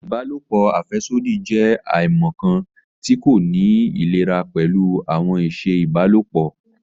Ìbálòpọ̀ afẹsodi jẹ aimọkan ti ko ni ilera pẹlu awọn iṣẹ ìbálòpọ̀